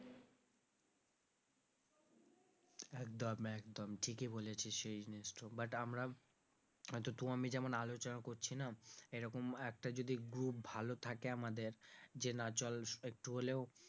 একদম একদম ঠিকই বলেছিস এই but আমরা হয়তো তুই আমি যেমন আলোচনা করছি না এরকম একটা যদি group ভালো থাকে আমাদের যে না চল একটু হলেও সমাজসেবা,